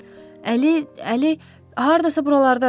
Əli, Əli, hardasa buralardadır.